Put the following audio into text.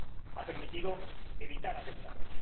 Ha permitido evitar atentados.